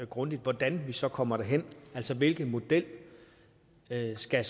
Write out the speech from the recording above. grundigt hvordan vi så kommer derhen altså hvilken model der skal